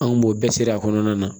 Anw b'o bɛɛ seri a kɔnɔna na